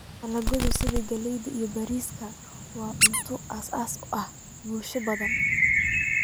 Dalagyada sida galleyda iyo bariiska waa cunto aasaasi ah bulshooyin badan.